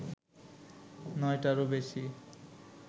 নয়টারও বেশি